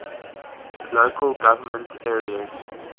local government areas